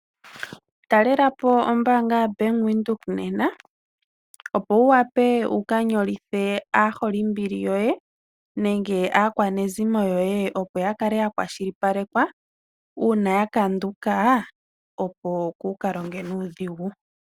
Talela po ombaanga yaBank Windhoek nena, opo wu wape wu ka nyolithe aaholimbili yoye, nenge aakwanezimo yoye opo ya kale ya kwashilipalekwa, una ya kanduka opo ku ka longe nuudhigu.